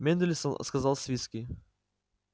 мендельсон сказал свицкий